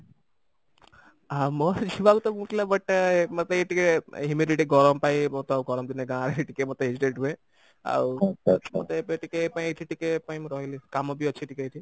ଆମ principal ତ but ମୋତେ ଏଇ ଟିକେ humidity ଗରମ ପାଇଁ ମୋତେ ତ ଗରମ ଦିନେ ଗାଁରେ ଟିକେ ମୋତେ hesitate ହୁଏ ଆଉ ମୋତେ ଏବେ ଟିକେ ପାଇଁ ଏଠି ଟିକେ ପାଇଁ ମୁଁ ରହିଲି କାମ ବି ଅଛି ଟିକେ ଏଠି